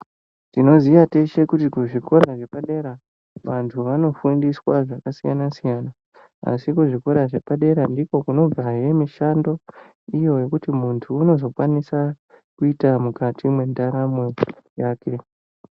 Tinoziva teshe kuti kuzvikora zvepadera vandu vanofundiswa zvakasiyana siyana asi kuzvikora zvepadera ndiko kunobva hee mushando wekuti mundu unozokwanisa kuita mukati mwendaramo yake.